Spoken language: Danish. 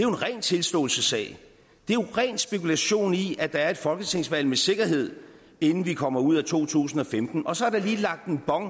en ren tilståelsessag det er ren spekulation i at der er et folketingsvalg med sikkerhed inden vi kommer ud af to tusind og femten og så er der lige lagt en bon